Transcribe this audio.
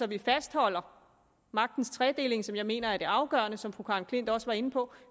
vi fastholder magtens tredeling som jeg mener er det afgørende og som fru karen klint også var inde på